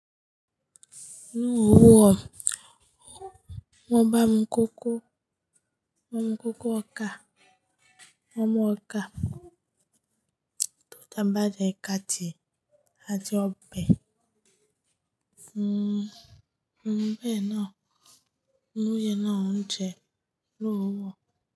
Ní òwúrọ̀, wọ́n bá mi koko, wọ́n mú koko ọkà, wọ́n mú ọkà, tó jẹ́ bá jẹ ìka tì, a ti ọbẹ̀, mm, ọbẹ̀ náà, oyè náà jẹ lówó.